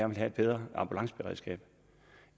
vil have et bedre ambulanceberedskab